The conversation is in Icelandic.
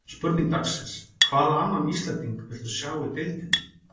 Spurning dagsins: Hvaða annan Íslending viltu sjá í deildinni?